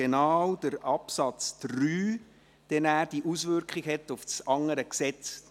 Denn der Absatz 3 hat eine Auswirkung auf das andere Gesetz.